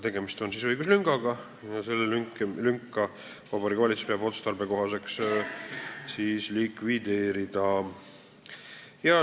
Tegemist on õiguslüngaga ja Vabariigi Valitsus peab otstarbekohaseks see lünk likvideerida.